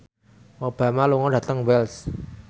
Obama lunga dhateng Wells